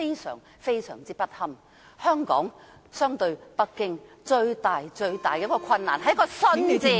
相比北京，香港最大的困難是一個"信"字。